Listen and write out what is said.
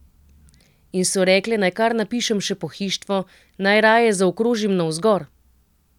In so rekle, naj kar napišem še pohištvo, naj raje zaokrožim navzgor.